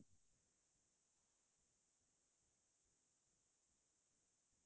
হাতৰ কাম কৰিছিলো কেতিয়াবা মাক ৰন্ধা বঢ়াতও সহায় কৰি দিছিলো